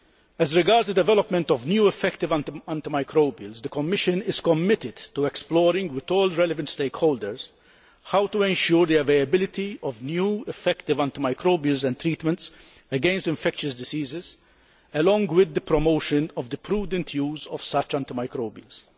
As regards the development of new effective antimicrobials, the Commission is committed to exploring with all relevant stakeholders how to ensure the availability of new, effective antimicrobials and treatments against infectious diseases, along with the promotion of the prudent use of such antimicrobials.